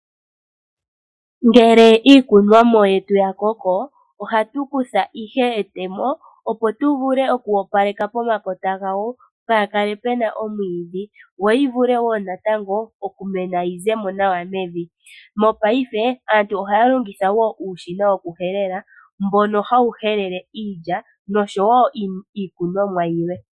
Ngele iikunwamo yetu ya koko, ohatu kutha ihe etemo opo tu vule oku opaleka pomakota gayo kaapu kale pu na omwiidhi. Yo yi vule wo natango okumena yi ze mo nawa mevi. Mopaife aantu ohaya longitha wo uushina wokuhelela mbono hawu helele iilya nosho wo iikunwa mo yilwe.